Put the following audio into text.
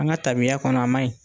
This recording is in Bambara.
An ka tabiya kɔnɔ, a man ɲi.